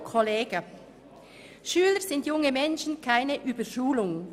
«Schüler sind junge Menschen – keine Überschulung».